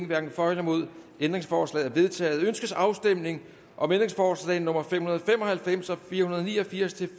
hverken for eller imod stemte ændringsforslaget er vedtaget ønskes afstemning om ændringsforslag nummer fem hundrede og fem og halvfems og fire hundrede og ni og firs til